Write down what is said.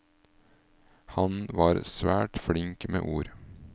Han var svært flink med ord.